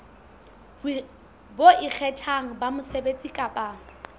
bo ikgethang ba mosebetsi kapa